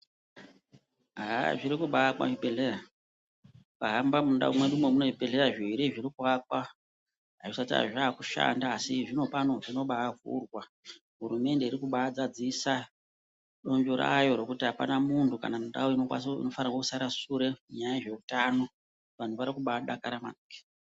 Haah zviri kubaaakwa zvibhedhlera. Ukahamba mundau mwedumwo mune zvibhedhlera zviiri zviri kuakwa. Azvisati hazvo zvaakushanda asi zvinopano zvinobaavhurwa. Hurumende iri kubaazadzisa donzvo rayo rekuti apana muntu kana ndau inofanire kusarire shure panyaya dzezveutano. Vantu vari kubaadakara maningi.